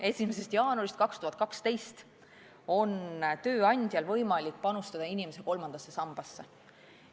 1. jaanuarist 2012 on tööandjal võimalik panustada inimese kolmandasse sambasse.